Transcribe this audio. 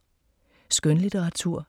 Skønlitteratur